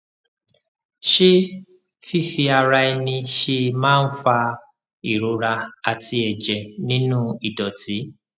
ṣé fífi ara ẹni ṣe é máa ń fa ìrora àti ẹjẹ nínú ìdọtí